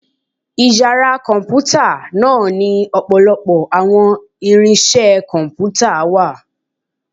Ìyára Kọǹpútà náá ni ọpọlọpọ awọn irinse Kọǹpútà wà